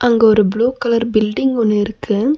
அங்கு ஒரு blue colour building ஒன்னு இருக்கு.